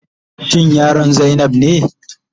Shin yaron zainab ne?